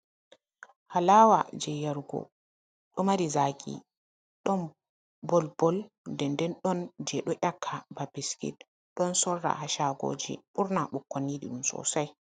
Alawa je yarugo, ɗo mari zaki, ɗon bol bol den den ɗon je ɗo ƴaka ba bisket, ɗon sorra ha shagoji ɓurna ɓukkon yiɗi ɗum sosai.